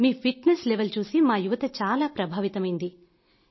మీ fitness level చూసి మా యువత చాలా ప్రభావితమైంది